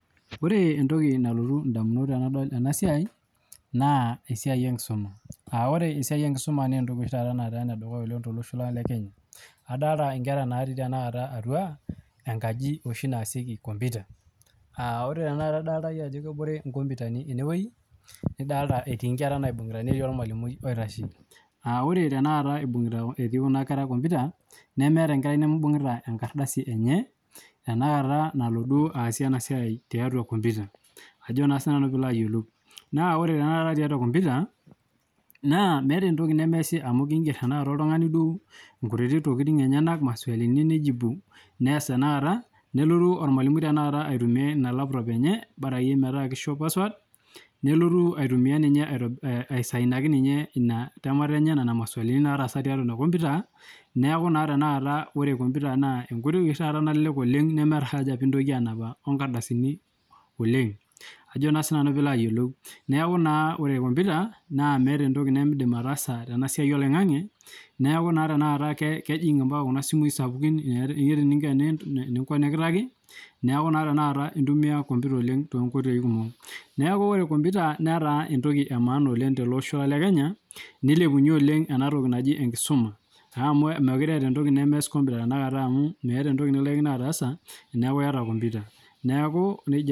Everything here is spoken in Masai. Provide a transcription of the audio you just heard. Ore entoki nalotu ndamut tenadol ena siai naa esiai ekisuma naa ore Esiai enkisuma naa entoki oshi taata etipat tolosho lang le Kenya ore kuna kera naa natii atua enkaji naasieki computer ore idolita iyie ajo ebore enkomputani ene wueji netii inkere naibungita netii olmalimui oitashe ore etii kuna kera komputa nemeeta enkarai nemeibung'ita komputa enye nalo duo aasie ena siai tiatua komputa naa ore tenakata tiatua kompuyita naa meeta entoki meesi amu Inger tenakata oltung'ani duo nkutitik tokitin enyana duo maswali neas tenakata nelotu olmalimui aasishore ina laptop enye bora akeyie metaa keisho password nelotu niye aisaidia ninye nena masualini naatasa teina kompuyuta neaku ore taa kompuyuta naa mintoki anap inkardasini oleng neaku ore kompuyuta nemeeta entoki nemeidim ataasa naa ijing' opaka kuna simui sapukini neaku naa tenakata iasishore kompuyuta too nkoitoi kumok neeku ore kompuyuta naa enemaan to losho le Kenya neilepunyie oleng ena toki naji enkisuma amu keekure eeta entoki nemeas kompuyuta amu meeta entoki nilaikino ataasa